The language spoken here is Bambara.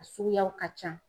A suguyaw ka can.